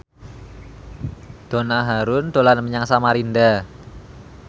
Donna Harun dolan menyang Samarinda